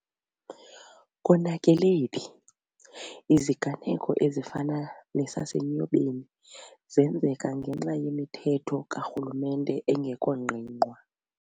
KONAKELE PHI?.Iziganeko ezifana nesase Nyobeni zenzeka ngenxa yemithetho ka rhulumente engekho ngqingqwa.